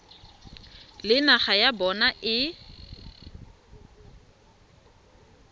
le naga ya bona e